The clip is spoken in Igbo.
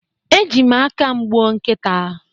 Eji m aka m gbuo nkita